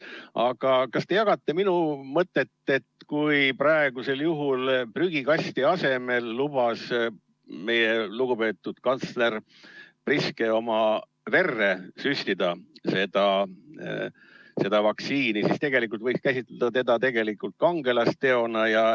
Aga kas te jagate minu mõtet, et kui praegusel juhul prügikasti asemel lubas meie lugupeetud kantsler Priske oma verre süstida seda vaktsiini, siis tegelikult võiks seda käsitleda hoopis kangelasteona?